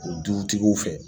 O dutigiw fɛ